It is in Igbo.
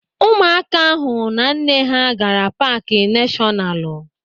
Ụmụaka ahụ na nne ha gaara paaki nashọnalu.